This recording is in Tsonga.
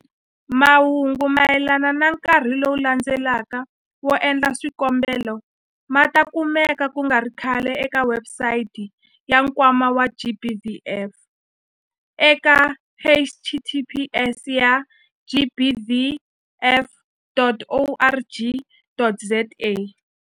Mahungu mayelana na nkarhi lowu landzelaka wo endla swikombelo ma ta kumeka ku nga ri khale eka webusayiti ya Nkwama wa GBVF eka- https ya gbvf.org.za.